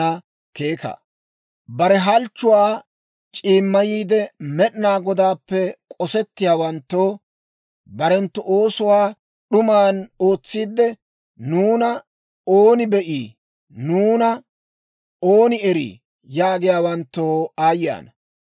Bare halchchuwaa c'iimmayiide, Med'inaa Godaappe k'ossiyaawanttoo, barenttu oosuwaa d'uman ootsiidde, «Nuuna ooni be'ii? Nuuna ooni erii?» yaagiyaawanttoo aayye ana!